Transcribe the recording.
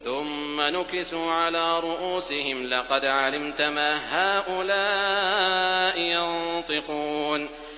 ثُمَّ نُكِسُوا عَلَىٰ رُءُوسِهِمْ لَقَدْ عَلِمْتَ مَا هَٰؤُلَاءِ يَنطِقُونَ